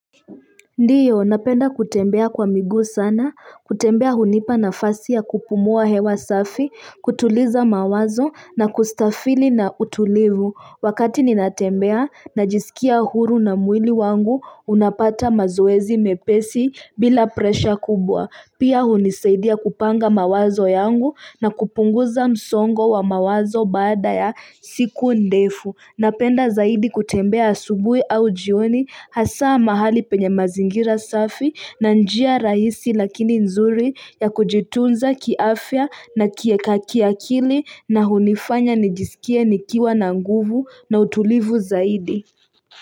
Ndio, napenda kutembea kwa miguu sana, kutembea hunipa nafasi ya kupumua hewa safi, kutuliza mawazo na kustafili na utulivu, wakati ninatembea najisikia huru na mwili wangu unapata mazoezi mepesi bila pressure kubwa, pia hunisaidia kupanga mawazo yangu na kupunguza msongo wa mawazo baada ya siku ndefu Napenda zaidi kutembea asubuhi au jioni hasa mahali penye mazingira safi na njia rahisi lakini nzuri ya kujitunza kiafya na kiakili na hunifanya nijisikie nikiwa na nguvu na utulivu zaidi.